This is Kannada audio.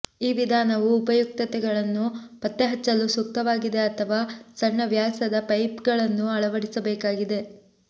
ಈ ವಿಧಾನವು ಉಪಯುಕ್ತತೆಗಳನ್ನು ಪತ್ತೆಹಚ್ಚಲು ಸೂಕ್ತವಾಗಿದೆ ಅಥವಾ ಸಣ್ಣ ವ್ಯಾಸದ ಪೈಪ್ಗಳನ್ನು ಅಳವಡಿಸಬೇಕಾದರೆ